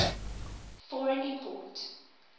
for an import